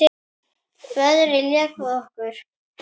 Veðrið lék við okkur.